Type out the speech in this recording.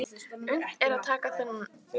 Unnt er að taka þennan hluta námsins í útlöndum.